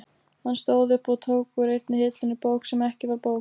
Hann stóð upp og tók úr einni hillunni bók sem ekki var bók.